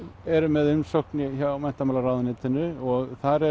eru með umsókn hjá menntamálaráðuneytinu og þar